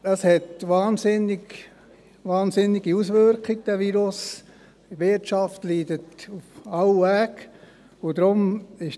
Dieser hat wahnsinnige Auswirkungen, und die Wirtschaft leidet auf jede erdenkliche Weise.